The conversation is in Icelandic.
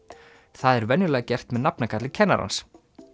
það er venjulega gert með nafnakalli kennarans